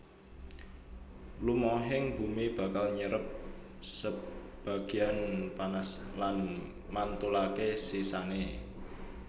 Lumahing bumi bakal nyerep sebagéyan panas lan mantulaké sisané